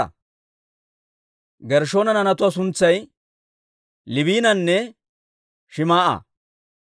Gershshoona naanatuwaa suntsay Liibinanne Shim"a.